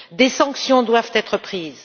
Des sanctions doivent être prises.